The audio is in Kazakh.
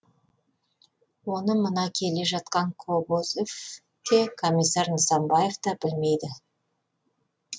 оны мына келе жатқан кобозев те комиссар нысанбаев та білмейді